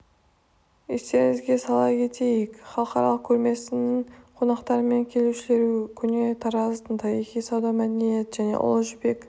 естеріңізге сала кетейік халықаралық көрмесінің қонақтары мен келушілерін көне тараздың тарихы сауда мәдениет және ұлы жібек